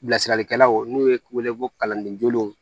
Bilasiralikɛlaw n'u ye wele ko kalandenjugulenw